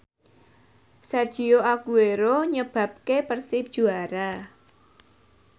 Sergio Aguero nyebabke Persib juara